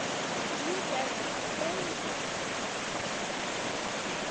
лентяево открой мне текст